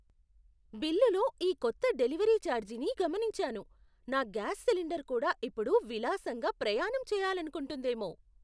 బిల్లులో ఈ కొత్త డెలివరీ ఛార్జీని గమనించాను. నా గ్యాస్ సిలిండర్ కూడా ఇప్పుడు విలాసంగా ప్రయాణం చెయ్యాలనుకుంటోందేమో!